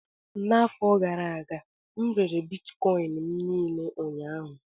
N'afọ gara aga, m rere Bitkọịn m niile ụnyaahụ